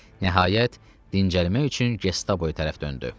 Nəhayət, dincəlmək üçün Gestapoy tərəf döndü.